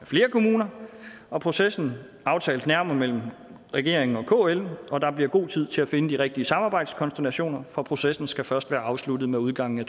flere kommuner og processen aftales nærmere mellem regeringen og kl og der bliver god tid til at finde de rigtige samarbejdskonstellationer for processen skal først være afsluttet med udgangen af